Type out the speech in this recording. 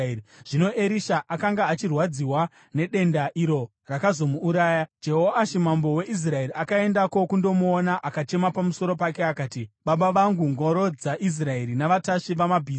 Zvino Erisha akanga achirwadziwa nedenda iro rakazomuuraya. Jehoashi mambo weIsraeri akaendako kundomuona akachema pamusoro pake akati, “Baba vangu! Ngoro dzaIsraeri navatasvi vamabhiza!”